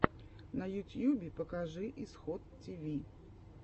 на ютьюбе покажи исход тиви